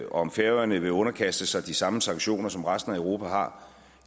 om færøerne vil underkaste sig de samme sanktioner som resten af europa har